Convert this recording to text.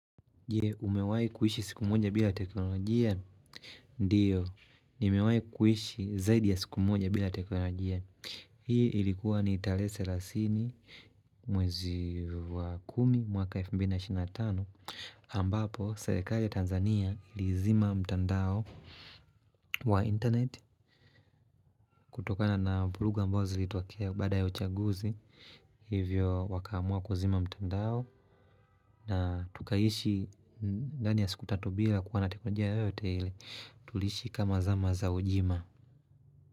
Je, umewahi kuishi siku moja bila teknolojia? Ndiyo, nimewahi kuishi zaidi ya siku moja bila teknolojia. Hii ilikuwa ni tarehe selasini mwezi wa kumi mwaka 2005. Ambapo, serikali ya Tanzania ilizima mtandao wa internet. Kutokana na vurugu ambazo zilitokea baada ya uchaguzi. Hivyo wakaamua kuzima mtandao. Na tukaishi ndani ya siku tatu bila kuwa na teknolojia yoyote ile Tuliishi kama zama za ujima.